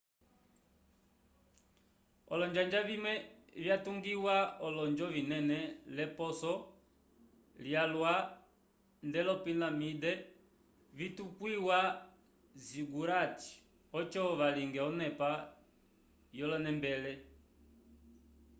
olonjanja vimwe vyatungiwa olonjo vinene l'eposo lyalwa nd'olopilaminde vitukwiwa zigurates oco valinge onepa yolonembele